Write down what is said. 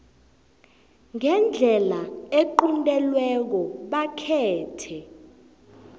ngendlela equntelweko bakhethe